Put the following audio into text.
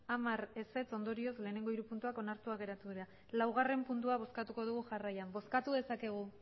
hamar ondorioz lehenengo hiru puntuak onartuak geratu dira laugarren puntua bozkatuko dugu jarraian bozkatu dezakegu